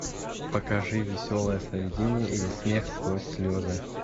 покажи веселое сновидение или смех сквозь слезы